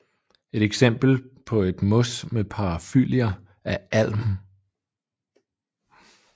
Et eksempel på et mos med parafyllier er Alm